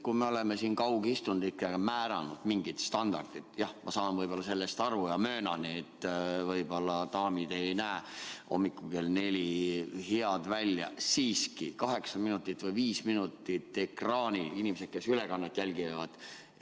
Kui me oleme siin kaugistungitel määranud mingid standardid – jah, ma saan sellest aru ja möönan, et võib-olla daamid ei näe hommikul kell neli head välja –, siis võiks siiski kaheksa minutit või viis minutit.